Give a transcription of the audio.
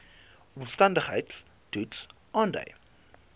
omstandigheids toets aandui